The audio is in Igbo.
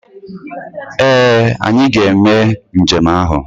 Ee! Anyị ga-eme njem ahụ.